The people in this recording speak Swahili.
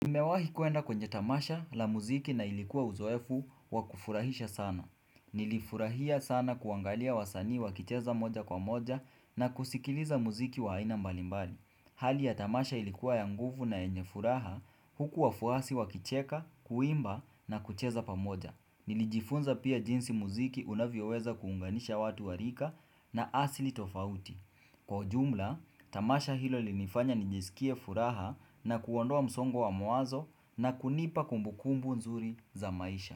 Nimewahi kwenda kwenye tamasha la muziki na ilikuwa uzoefu wa kufurahisha sana. Nilifurahia sana kuangalia wasani wakicheza moja kwa moja na kusikiliza muziki wa haina mbalimbali. Hali ya tamasha ilikuwa ya nguvu na enye furaha huku wa fuasi wa kicheka, kuimba na kucheza pamoja. Nilijifunza pia jinsi muziki unavyoweza kuunganisha watu wa rika na asili tofauti. Kwa ujumla, tamasha hilo linifanya nijizikie furaha na kuondoa msongo wa mawazo na kunipa kumbukumbu nzuri za maisha.